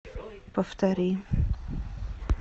повтори